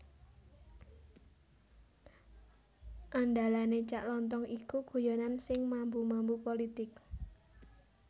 Andalane Cak Lontong iku guyonan sing mambu mambu politik